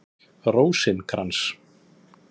Rósinkrans